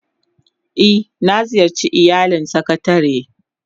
Eh, na ziyarce iyalin sakatare